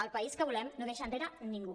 el país que volem no deixa enrere ningú